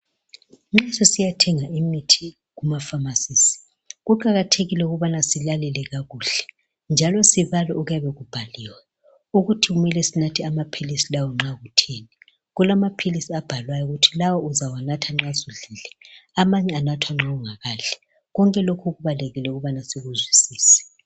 Nxa sisiyathenga imithi kuma Pharmacies kuqakathekile ukubana silalele kakuhle njalo sibale okuyabe kubhaliwe ukuthi kumele sinathe amaphilisi lawa nxa kutheni kulamaphilisi abhalwayo ukuthi lawa uzawanatha nxa sudlile amanye anathwa nxa ungakadli konke lokhu kubalulekile ukuthi sikuzwisise